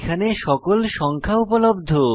এখানে সকল সংখ্যা উপলব্ধ